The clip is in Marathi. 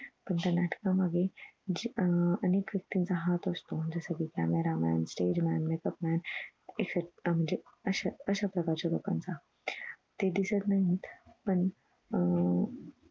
पण त्या नाटकां मध्ये जी अह अनेक व्यक्तीचा हात असतो जस कि camera man stage man makeup man etcetera म्हणजे अश्या अश्याप्रकारे लोकांनाच ते दिसत नाहीत पण अह